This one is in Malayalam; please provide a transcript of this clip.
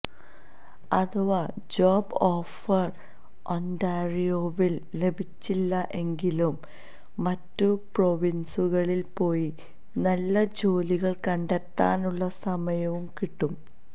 അഥവാ ജോബ് ഓഫർ ഒന്റാറിയോവിൽ ലഭിച്ചില്ല എങ്കിലും മറ്റു പ്രൊവിൻസുകളിൽ പോയി നല്ല ജോലികൾ കണ്ടെത്താനുള്ള സമയവും കിട്ടും